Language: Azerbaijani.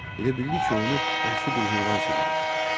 Elə bildi ki, onu vəhşi bir heyvan sürüyür.